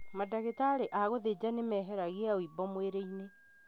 Mandagĩtarĩ a gũthĩjana nĩmeheragia ũimbo mwĩrĩ-inĩ